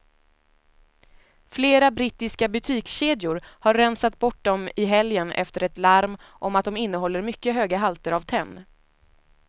Flera brittiska butikskedjor har rensat bort dem i helgen efter ett larm om att de innehåller mycket höga halter av tenn.